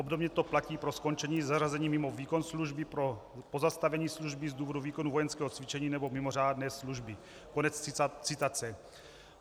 Obdobně to platí pro skončení zařazení mimo výkon služby, pro pozastavení služby z důvodu výkonu vojenského cvičení nebo mimořádné služby."